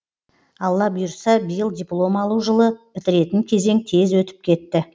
алла бұйыртса биыл диплом алу жылы бітіретін кезең тез өтіп кетті